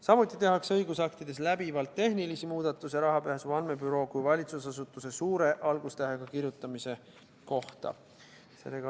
Samuti tehakse õigusaktides läbivalt tehnilisi muudatusi Rahapesu Andmebüroo kui valitsusasutuse suure algustähega kirjutamise kohta.